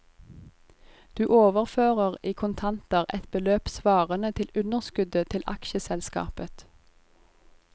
Du overfører i kontanter et beløp svarende til underskuddet til aksjeselskapet.